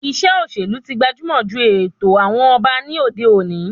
Ìṣe òṣèlú tí gbajumọ ju ètò àwọn ọba ní òde òni